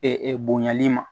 bonyali ma